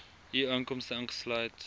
u inkomste ingesluit